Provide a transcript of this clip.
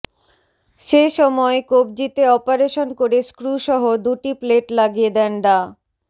সে সময় কবজিতে অপারেশন করে স্ক্রুসহ দুটি প্লেট লাগিয়ে দেন ডা